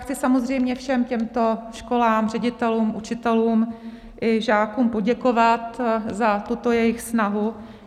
Chci samozřejmě všem těmto školám, ředitelům, učitelům i žákům poděkovat za tuto jejich snahu.